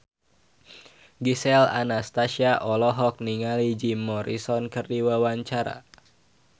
Gisel Anastasia olohok ningali Jim Morrison keur diwawancara